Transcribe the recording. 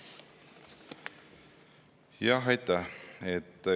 Aitäh!